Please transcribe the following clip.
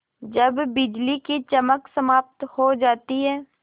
जब बिजली की चमक समाप्त हो जाती है